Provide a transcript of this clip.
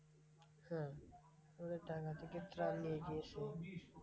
হ্যাঁ ওদের টাকা থেকে ত্রাণ নিয়ে গিয়েছিলো।